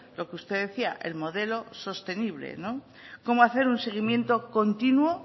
lo que usted decía el modelo sostenible cómo hacer un seguimiento continuo